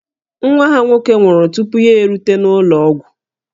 Nwa ha nwoke nwụrụ tupu ya erute n'ụlọ ọgwụ